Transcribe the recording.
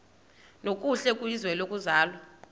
nokuhle kwizwe lokuzalwa